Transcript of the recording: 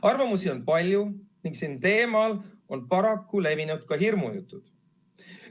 Arvamusi on palju ning sel teemal on paraku levinud hirmujutud.